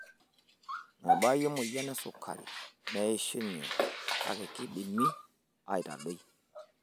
Mebaayu emoyian esukari meishunye kake kaidimi aitadoi .